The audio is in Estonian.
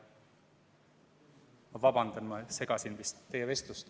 Ma vabandan, ma segasin vist teie vestlust.